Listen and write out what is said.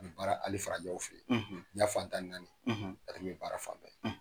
Nin bɛ baara ali farajƐ fɛ diɲƐ fan tan ni naani ale bƐbaara fan bɛɛ.